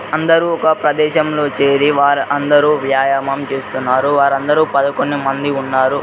అందరూ ఒక ప్రదేశంలో చేరి వారందరూ వ్యాయామం చేస్తున్నారు వారందరూ పదకొండు మంది ఉన్నారు.